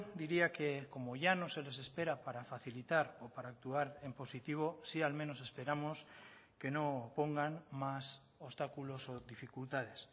diría que como ya no se les espera para facilitar o para actuar en positivo sí al menos esperamos que no pongan más obstáculos o dificultades